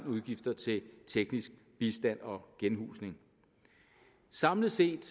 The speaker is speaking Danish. udgifter til teknisk bistand og genhusning samlet set